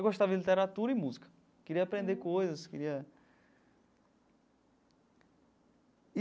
Eu gostava de literatura e música, queria aprender coisas, queria.